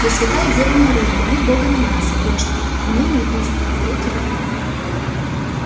пресвятая дева мария моли бога на нас грешных и ныне и присно и во веки веков